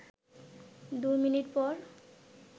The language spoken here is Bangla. দু মিনিট পর